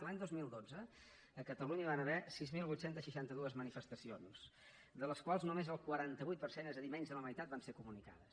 l’any dos mil dotze a catalunya hi van haver sis mil vuit cents i seixanta dos manifestacions de les quals només el quaranta vuit per cent és a dir menys de la meitat van ser comunicades